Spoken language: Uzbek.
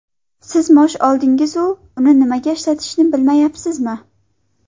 Siz maosh oldingiz-u uni nimaga ishlatishni bilmayapsizmi?